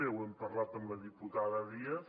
ho hem parlat amb la diputada díaz